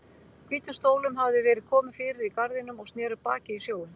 Hvítum stólum hafði verið komið fyrir í garðinum og sneru baki í sjóinn.